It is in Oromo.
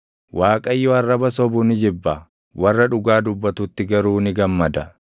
Waaqayyo arraba sobu ni jibba; warra dhugaa dubbatutti garuu ni gammada.